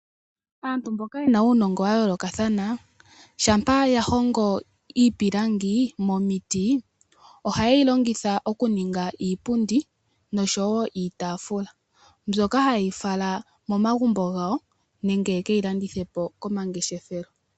Aantu mboka yena uunongo wayoolokathana, ngele yahongo iipulangi momiti, ohayeyi longitha mokuninga iipundi noshowoo iitaafula. Ohayeyi fala momagumbo gawo nenge yekeyi landithepo komangeshefelo.